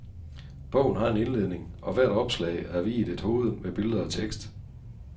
Bogen har en indledning, og hvert opslag er viet et hoved, med billeder og tekst.